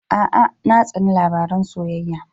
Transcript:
A'a, na tsani labaran soyayya.